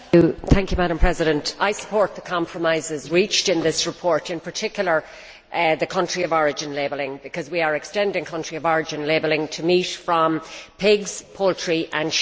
Madam President, I support the compromises reached in this report, in particular the country of origin labelling, because we are extending country of origin labelling to meat from pigs, poultry and sheep.